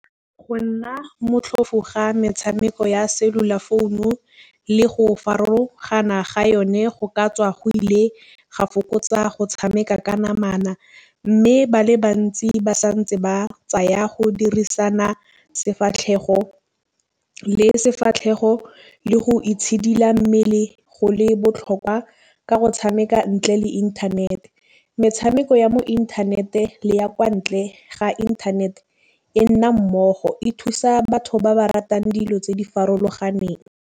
Go nna motlhofo ga metšhameko ya cellular phone-u le go farologana ga yone go ka tswa go ile ga fokotsa go tšhameka ka namana. Mme ba le bantsi ba santse ba tsaya go dirisana sefatlhego le sefatlhego le go itšhidila mmele go le botlhokwa ka go tšhameka ntle le inthanete. Metšhameko ya mo inthanete le ya kwa ntle ga inthanete e nna mmogo e thusa batho ba ba ratang dilo tse di farologaneng.